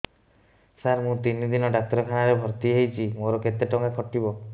ସାର ମୁ ତିନି ଦିନ ଡାକ୍ତରଖାନା ରେ ଭର୍ତି ହେଇଛି ମୋର କେତେ ଟଙ୍କା କଟିବ